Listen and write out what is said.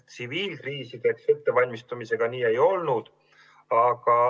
Tsiviilkriisideks valmistumisega nii ei olnud.